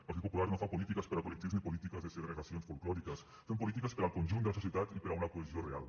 el partit popular no fa polítiques per a col·lectius ni polítiques de segregacions folklòriques fem polítiques per al conjunt de la societat i per a una cohesió real